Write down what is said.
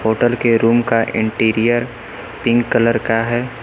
Hotel के room का interior pink colour का है।